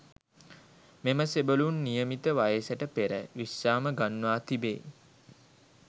මෙම සෙබළුන් නියමිත වයසට පෙර විශ්‍රාම ගන්වා තිබේ.